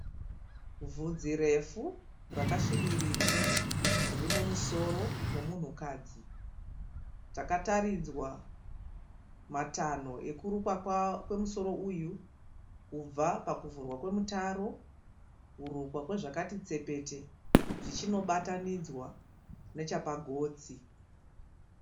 Vhudzi refu rakasvibirira. Riri mumusoro momunhukadzi Takataridzwa matanho ekurukwa kwemusoro uyu kubva pakuvhurwa kwemutaro kurukwa kwezvakati tsepete zvichinobatanidzwa nechepagotsi.